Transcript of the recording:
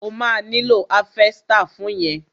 O ma nílò háfẹ́stà fún yẹn.